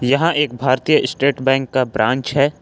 यहां एक भारतीय स्टेट बैंक का ब्रांच है।